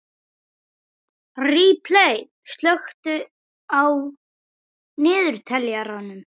Ripley, slökktu á niðurteljaranum.